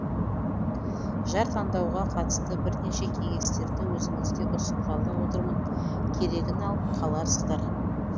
жар таңдауға қатысты бірнеше кеңестерді өзіңізге ұсынғалы отырмын керегін алып қаларсыздар